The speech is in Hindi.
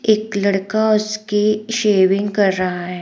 एक लड़का उसके शेविंग कर रहा है।